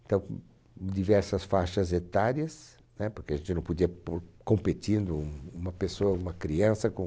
Então, diversas faixas etárias, né? Porque a gente não podia por competindo um uma pessoa, uma criança com...